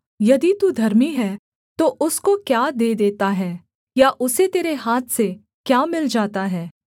यदि तू धर्मी है तो उसको क्या दे देता है या उसे तेरे हाथ से क्या मिल जाता है